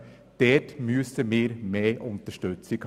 Wir brauchen hier mehr Unterstützung.